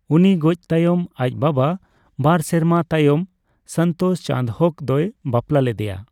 ᱩᱱᱤ ᱜᱚᱡ ᱛᱟᱭᱚᱢ ᱟᱡ ᱵᱟᱵᱟ ᱵᱟᱨ ᱥᱮᱨᱢᱟ ᱛᱟᱭᱚᱢ ᱥᱚᱱᱛᱳᱥ ᱪᱟᱸᱫᱽᱦᱳᱠ ᱫᱚᱭ ᱵᱟᱯᱞᱟ ᱞᱮᱫᱮᱭᱟ ᱾